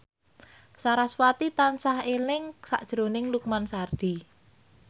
sarasvati tansah eling sakjroning Lukman Sardi